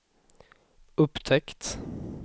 upptäckt